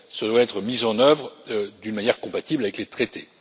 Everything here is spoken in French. Ce doit être mis en œuvre d'une manière compatible avec les traités.